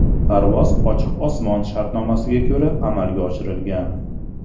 Parvoz ochiq osmon shartnomasiga ko‘ra amalga oshirilgan.